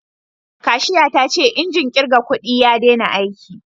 Kashiya ta ce injin kirga kudi ya dena aiki